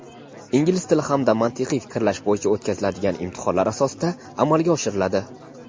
ingliz tili hamda mantiqiy fikrlash bo‘yicha o‘tkaziladigan imtihonlar asosida amalga oshiriladi.